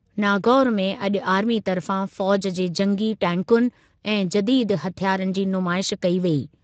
नागौर में अॼु आर्मी तर्फ़ा फ़ौज़ जे जंगी टैंकुनि ऐं जदीद हथियारनि जी नुमाइश कई वेई।